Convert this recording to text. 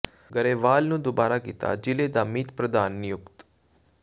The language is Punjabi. ਗਰੇਵਾਲ ਨੂੰ ਦੁਬਾਰਾ ਕੀਤਾ ਜ਼ਿਲ੍ਹੇ ਦਾ ਮੀਤ ਪ੍ਰਧਾਨ ਨਿਯੁਕਤ